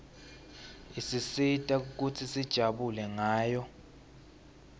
isisita kutsi sijabule ngayo